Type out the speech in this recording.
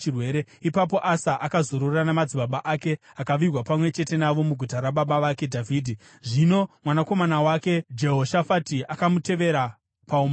Ipapo Asa akazorora namadzibaba ake akavigwa pamwe chete navo muguta rababa vake Dhavhidhi. Zvino mwanakomana wake Jehoshafati akamutevera paumambo.